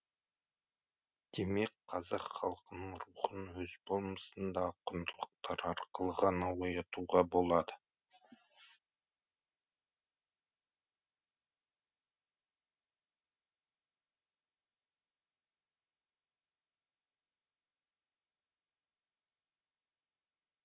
демек қазақ халқының рухын өз болмысындағы құндылықтар арқылы ғана оятуға болады